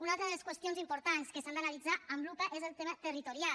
una altra de les qüestions importants que s’han d’analitzar amb lupa és el tema territorial